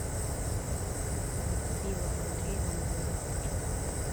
зацепила андрей бандера